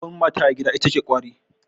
Babbar mata a gida ita ce kwari.